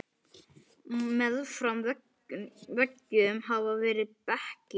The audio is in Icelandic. Meðfram veggjum hafa verið bekkir.